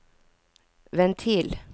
ventil